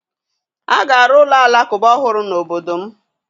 A ga arụ ụlọ Alakụba ọhụrụ n'obodo m